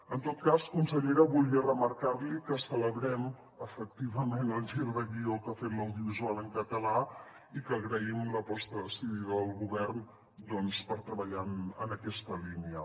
en tot cas consellera volia remarcar li que celebrem efectivament el gir de guió que ha fet l’audiovisual en català i que agraïm l’aposta decidida del govern per treballar en aquesta línia